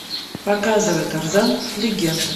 показывай тарзан легенда